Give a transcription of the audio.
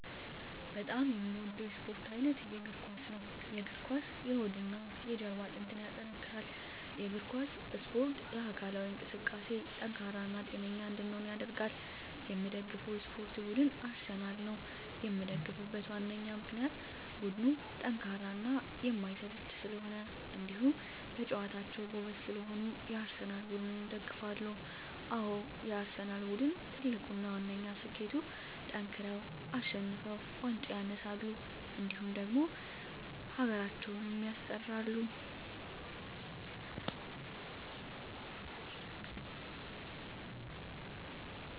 በጣም የምወደው የስፓርት አይነት የእግር ኳስ። የእግር ኳስ የሆድና የጀርባ አጥንትን ያጠነክራል። የእግር ኳስ እስፖርት ለአካላዊ እንቅስቃሴ ጠንካራ እና ጤነኛ እንድንሆን ያደርጋል። የምደግፈው የስፓርት ቡድን አርሰናል ነው። የምደግፍበት ዋነኛ ምክንያት ቡድኑ ጠንካራና የማይሰለች ስለሆኑ እንዲሁም በጨዋታቸው ጎበዝ ስለሆኑ የአርሰናል ቡድንን እደግፋለሁ። አዎ የአርሰናል ቡድን ትልቁና ዋነኛ ስኬቱጠንክረው አሸንፈው ዋንጫ ያነሳሉ እንዲሁም ደግሞ ሀገራችንም ያስጠራሉ።